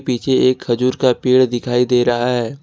पीछे एक खजूर का पेड़ दिखाई दे रहा है।